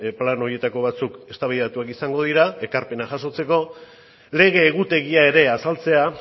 plano horietako batzuk eztabaidatuak izango dira ekarpena jasotzeko lege egutegia ere azaltzea